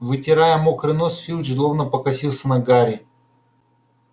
вытирая мокрый нос филч злобно покосился на гарри